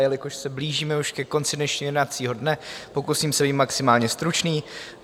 Jelikož se blížíme už ke konci dnešního jednacího dne, pokusím se být maximálně stručný.